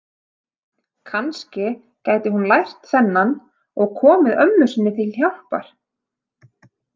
Kannski gæti hún lært þennan og komið ömmu sinni til hjálpar.